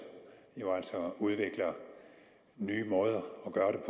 udvikler nye måder